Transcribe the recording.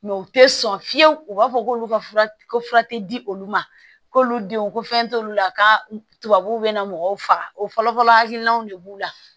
u tɛ sɔn fiyewu u b'a fɔ k'olu ka fura ko fura tɛ di olu ma k'olu denw ko fɛn t'olu la ka tu tubabuw bɛ na mɔgɔw faga o fɔlɔ-fɔlɔ hakilinaw de b'u la